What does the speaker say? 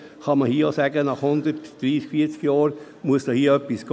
Genauso kann man hier auch sagen, nach 130, 140 Jahren müsse etwas gehen.